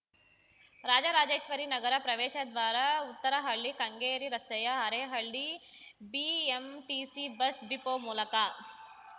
ರಾಜರಾಜೇಶ್ವರಿ ನಗರ ಪ್ರವೇಶದ್ವಾರ ಉತ್ತರಹಳ್ಳಿ ಕೆಂಗೇರಿ ರಸ್ತೆಯ Arehalli BMTC bus depot ಮೂಲಕ